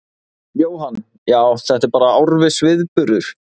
Jóhann: Já, þetta er bara árviss viðburður?